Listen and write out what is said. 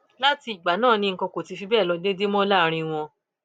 láti ìgbà náà ni nǹkan kò ti fi bẹẹ lọ déédé mọ láàrin wọn